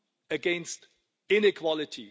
against inequality.